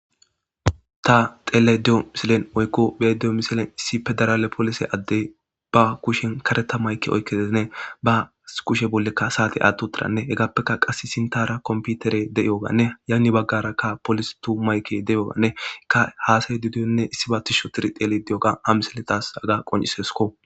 Ta teele diyo misilen oykko beedeyo misilen issi pedarale polise addey ba kushen kareta mayke oykkeezine ba kushe bollekka saate atto tiranne hegaappekka qass sintara komputere de'iyoganne yanni baggarakka polis tumayke de'yyoganne ikka haasay dudiyonne issi ba tisho tiri tele diyoga a misiletas aga qonciseskko.